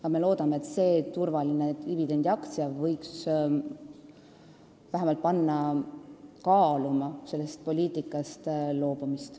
Aga me loodame, et see turvaline dividendiaktsia võiks vähemalt panna kaaluma sellest poliitikast loobumist.